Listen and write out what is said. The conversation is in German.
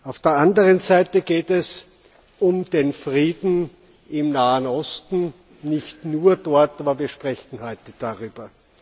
Auf der anderen Seite geht es um den Frieden im Nahen Osten nicht nur dort, aber wir sprechen heute darüber.